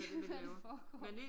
Hvad der foregår